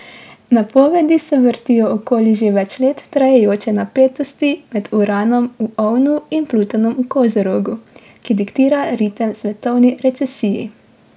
Napovedi se vrtijo okoli že več let trajajoče napetosti med Uranom v ovnu in Plutonom v kozorogu, ki diktira ritem svetovni recesiji.